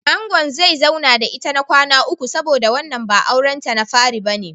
Angon zai zauna da ita na kwana uku saboda wannan ba auren ta na fari bane.